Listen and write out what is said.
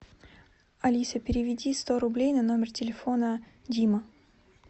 алиса переведи сто рублей на номер телефона дима